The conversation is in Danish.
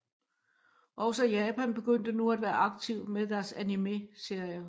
Også Japan begyndte nu at være aktiv med deres animeserier